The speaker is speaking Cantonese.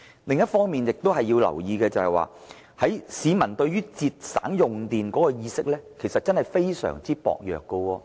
另一亦要留意的地方，是市民對節省用電的意識非常薄弱。